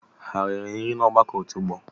Ha eriri nri n'ọgbakọ otu ọgbọ?